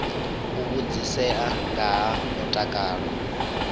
u vhudzisea nga ha mutakalo